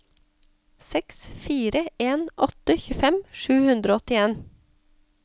seks fire en åtte tjuefem sju hundre og åttien